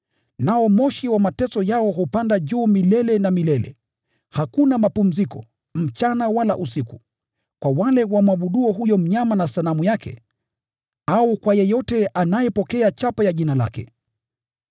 Nao moshi wa mateso yao hupanda juu milele na milele. Hakuna mapumziko, mchana wala usiku, kwa wale wamwabuduo huyo mnyama na sanamu yake, au kwa yeyote anayepokea chapa ya jina lake.”